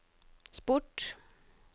sport